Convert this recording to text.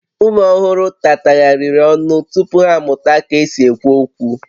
Ụmụ ọhụrụ tatagharịrị ọnụ tupu ha amụta ka e si ekwu okwu